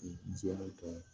I jɛtɔ